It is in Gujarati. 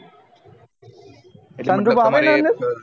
sun roof આવે એના અંદર